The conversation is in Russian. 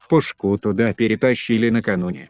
пушку туда перетащили накануне